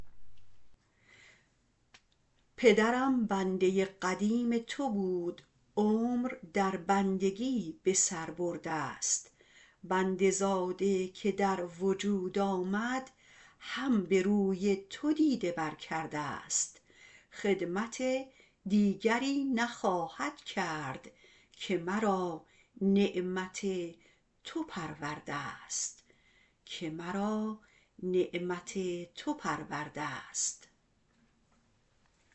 پدرم بنده قدیم تو بود عمر در بندگی به سر بردست بنده زاده که در وجود آمد هم به روی تو دیده بر کردست خدمت دیگری نخواهد کرد که مرا نعمت تو پروردست